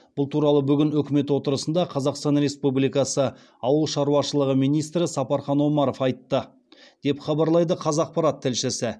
бұл туралы бүгін үкімет отырысында қазақстан республикасы ауыл шаруашылығы министрі сапархан омаров айтты деп хабарлайды қазақпарат тілшісі